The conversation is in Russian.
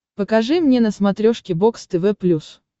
покажи мне на смотрешке бокс тв плюс